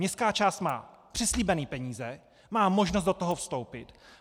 Městská část má přislíbené peníze, má možnost do toho vstoupit.